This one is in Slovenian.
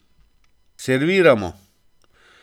Serviramo.